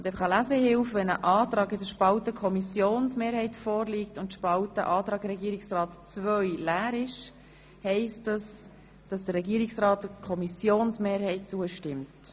Eine Lesehilfe: Wenn ein Antrag in der Spalte Kommissionsmehrheit vorliegt und die Spalte Regierungsrat II leer ist, heisst das, dass der Regierungsrat der Kommissionsmehrheit zustimmt.